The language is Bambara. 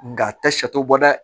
Nga a tɛ sat'o bɔ dɛ